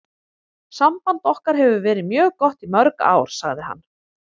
Samband okkar hefur verið mjög gott í mörg ár, sagði hann.